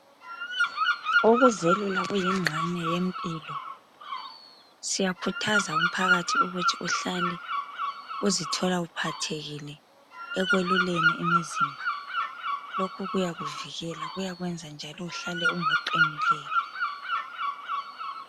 Ukuzelula kuyingxenye yempilo siyakhuthaza umphakathi ukuthi uhlale uzithola uphathekile ekweluleni imizimba, lokhu kuyakuvikela kuyakwenza njalo uhlale ungoqinileyo